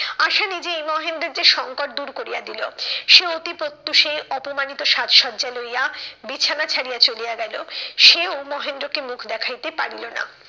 আশা নিজেই মহেন্দ্রর যে সংকট দূর করিয়া দিলো। সে অতি প্রত্যুষে অপমানিত সাজ সজ্জা লইয়া বিছানা ছাড়িয়া চলিয়া গেলো। সেও মহেন্দ্রকে মুখ দেখাইতে পারিল না।